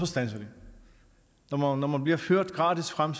standser når man bliver ført gratis frem